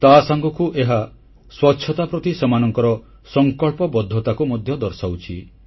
ତାସାଙ୍ଗକୁ ଏହା ସ୍ୱଚ୍ଛତା ପ୍ରତି ସେମାନଙ୍କ ସଂକଳ୍ପବଦ୍ଧତାକୁ ମଧ୍ୟ ଦର୍ଶାଉଛି